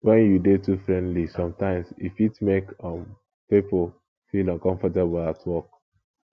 when you dey too friendly sometimes e fit make um people feel uncomfortable at work